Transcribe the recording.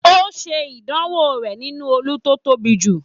O ṣe ìdánwò rẹ nínú ọọlú tó tóbi jù.